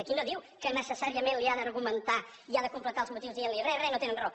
aquí no diu que necessàriament li ha d’argumentar i ha de completar els motius dient li re re no tenen raó